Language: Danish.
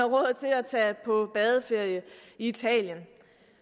råd til at tage på badeferie i italien